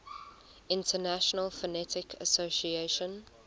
international phonetic association